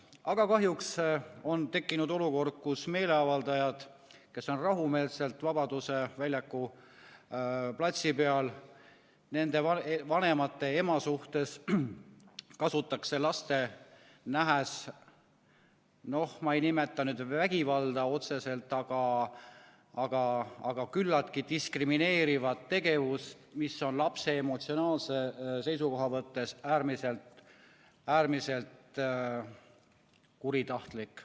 Aga kahjuks on tekkinud olukord, kus meeleavaldajad, kes on rahumeelselt Vabaduse väljaku platsi peal, nende vanemate, ema suhtes kasutatakse laste nähes, ma ei nimeta nüüd vägivalda otseselt, aga küllaltki diskrimineerivat tegevust, mis on lapse emotsionaalse seisukoha mõttes äärmiselt kuritahtlik.